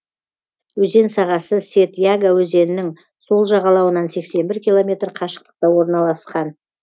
өзен сағасы сед яга өзенінің сол жағалауынан сексен бір километр қашықтықта орналасқан